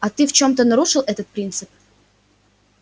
а ты в чем-то нарушил этот принцип